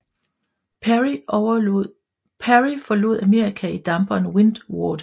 Peary forlod Amerika i damperen Windward